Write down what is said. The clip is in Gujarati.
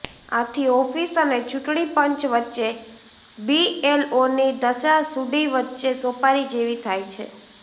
આથી ઓફિસ અને ચૂંટણી પંચ વચ્ચે બીએલઓની દશા સુડી વચ્ચે સોપારી જેવી થાય છે